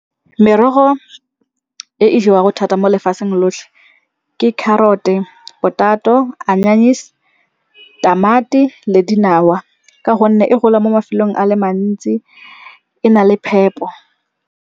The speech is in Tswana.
Merogo e e jewago thata mo lefatsheng lotlhe ke carrot-e, potato, anyanise, tamati le dinawa. Ka gonne e gola mo mafelong a le mantsi, e na le phepo.